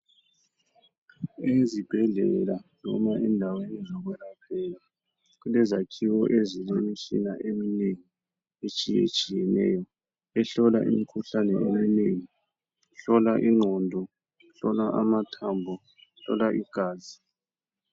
Ezibhedlela loba endaweni zokwelaphela kulezakhiwo ezilemitshina eminengi etshiye tshiyeneyo ehlola imikhuhlane eminengi ehlola ingqondo, ehlola amathambo, ehlola igazi.